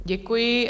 Děkuji.